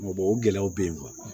o gɛlɛyaw bɛ yen